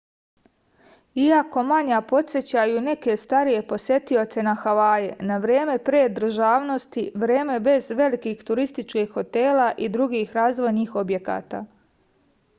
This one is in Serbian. iako manja podsećaju neke starije posetioce na havaje na vreme pre državnosti vreme bez velikih turističkih hotela i drugih razvojnih objekata